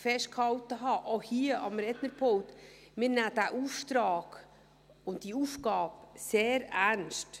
festgehalten haben, auch hier am Rednerpult: Wir nehmen diesen Auftrag und diese Aufgabe sehr ernst.